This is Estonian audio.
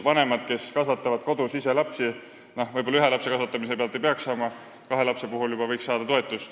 Vanemad, kes ise kodus lapsi kasvatavad, ei peaks võib-olla ühe lapse kasvatamise eest toetust saama, aga kahe lapse puhul võiksid juba saada.